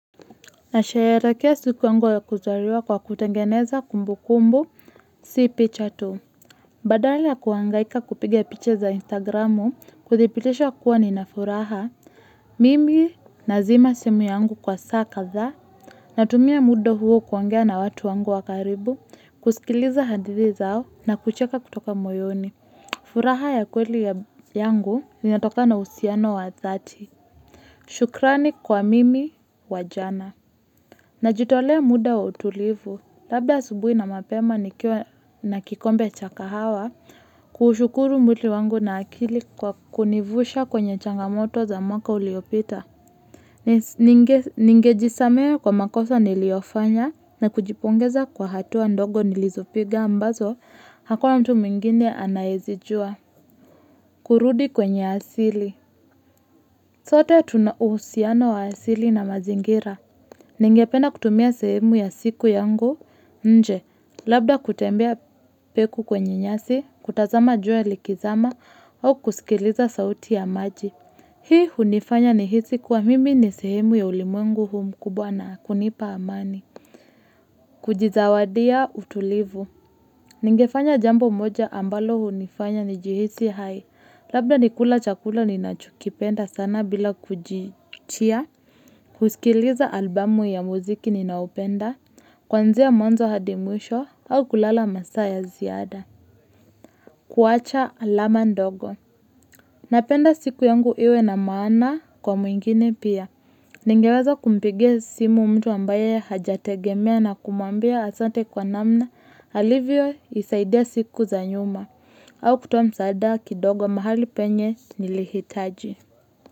Na sherekea siku wangu ya kuzaliwa kwa kutangeneza kumbu kumbu si picha tu. Badala ya kuangaika kupiga picha za Instagramu kuthibitisha kuwa ninafuraha mimi na zima simu yangu kwa saa kazaa. Natumia muda huo kuongea na watu wangu wakaribu kusikiliza hadithi zao na kucheka kutoka moyoni. Furaha ya kweli yangu i natoka na usiano wa zati. Shukrani kwa mimi wajana. Na jitolea muda wa utulivu, labda subuhi na mapema nikiwa na kikombe cha kahawa kushukuru mwiti wangu na akili kwa kunivusha kwenye changamoto za mwaka uliopita. Ninge jisamehe kwa makosa niliofanya na kujipongeza kwa hatuwa ndogo nilizopiga ambazo hakua mtu mingine anayizijua. Kurudi kwenye asili sote tunuhusiano wa asili na mazingira. Ninge penda kutumia sehemu ya siku yangu, nje, labda kutembea peku kwenye nyasi, kutazama juwe likizama, au kusikiliza sauti ya maji. Hii hunifanya ni hisi kwa mimi ni sehemu ya ulimungu huhuu mkubwa na kunipa amani. Kujizawadia utulivu Ningefanya jambo moja ambalo hunifanya nijihisi hai Labda nikula chakula ninachokipenda sana bila kujichia kusikiliza albumu ya muziki ninaoupenda Kwanzia mwanzo hadimwisho au kulala masaya ziada kuwacha alama ndogo Napenda siku yangu iwe na maana kwa mwingine pia Ningeweza kumpigia simu mtu ambaye hajategemea na kumwambia asante kwa namna alivyo nisaidia siku za nyuma au kutuwa msaada kidogo mahali penye nilihitaji.